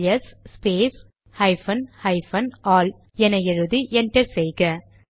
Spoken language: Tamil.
LS space hyphen hyphen all என எழுதி என்டர் செய்க